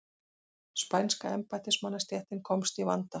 Spænska embættismannastéttin komst í vanda.